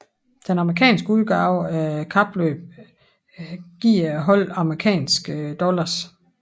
Den amerikanske udgave af kapløbet giver holdene amerikanske dollars